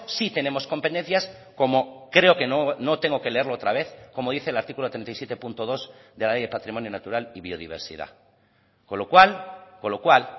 sí tenemos competencias como creo que no tengo que leerlo otra vez como dice el artículo treinta y siete punto dos de la ley de patrimonio natural y biodiversidad con lo cual con lo cual